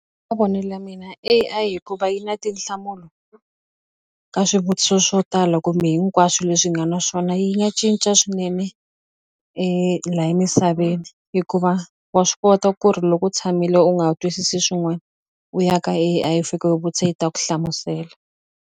mavonelo ya mina A_I hikuva yi na tinhlamulo ka swivutiso swo tala kumbe hinkwaswo leswi hi nga na swona yi nga cinca swinene la emisaveni hikuva wa swi kota ku ri loko u tshamile u nga twisisi swin'wani u ya ka A_I i fika u yi vutisa yi ta ku hlamusela.